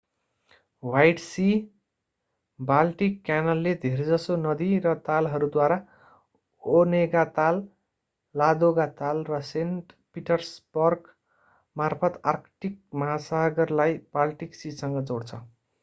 white sea Baltic क्यानलले धेरैजसो नदी र तालहरूद्वारा ओनेगा ताल लादोगा ताल र सेन्ट पिटर्सबर्गमार्फत आर्कटिक महासागरलाई बाल्टिक सीसँग जोड्छ